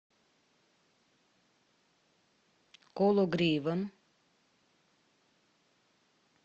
кологривом